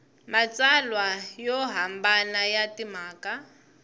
matsalwa yo hambana ya timhaka